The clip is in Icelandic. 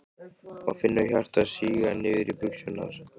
Og finnur hjartað síga niður í buxurnar.